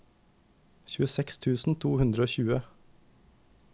tjueseks tusen to hundre og tjue